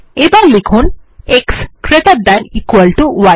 এবার লিখুন x greater than equal to E